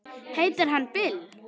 Heitir hann Bill?